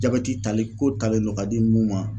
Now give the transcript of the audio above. Jabɛti tali ko talen do k'a di mun ma.